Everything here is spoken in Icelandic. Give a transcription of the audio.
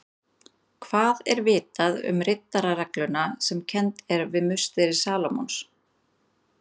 Hvað er vitað um riddararegluna sem kennd er við musteri Salómons?